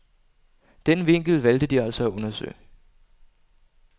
Den vinkel valgte de altså at undersøge.